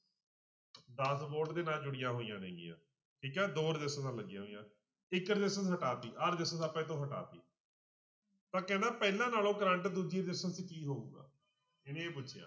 ਦਸ volte ਦੇ ਨਾਲ ਜੁੜੀਆਂ ਹੋਈਆਂ ਨੇਗੀਆਂ ਠੀਕ ਹੈ ਦੋ ਰਸਿਸਟੈਂਸਾਂ ਲੱਗੀਆਂ ਹੋਈਆਂ ਇੱਕ resistance ਹਟਾ ਦਿੱਤੀ ਆਹ resistance ਆਪਾਂ ਇੱਥੋਂ ਹਟਾ ਦਿੱਤੀ ਪਰ ਕਹਿੰਦਾ ਪਹਿਲਾਂ ਨਾਲੋਂ ਕਰੰਟ ਦੂਜੀ resistance 'ਚ ਕੀ ਹੋਊਗਾ, ਇਹਨੇ ਇਹ ਪੁੱਛਿਆ।